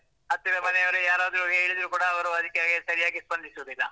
ಹತ್ತಿರ ಮನೆಯವರು ಯಾರಾದ್ರೂ ಹೇಳಿದ್ರು ಕೂಡಾ, ಅವರು ಅದುಕ್ಕೆ ಸರಿಯಾಗಿ ಸ್ಪಂದಿಸುದಿಲ್ಲ.